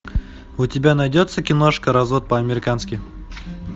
у тебя найдется киношка развод по американски